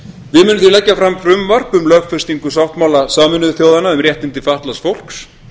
við munum því leggja fram frumvarp um lögfestingu sáttmála sameinuðu þjóðanna um réttindi fatlaðs fólks